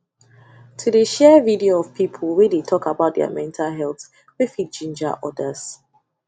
to de share video of people wey de talk about their mental health way fit ginger others